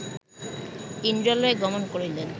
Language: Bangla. ইন্দ্রালয়ে গমন করিলেন